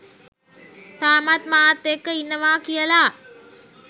තාමත් මාත් එක්ක ඉන්නවා කියල